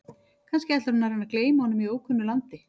Kannski ætlar hún að reyna að gleyma honum í ókunnu landi?